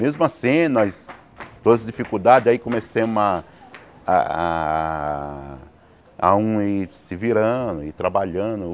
Mesmo assim, nós... Todas as dificuldades, aí comecemos a... A um ir se virando, ir trabalhando.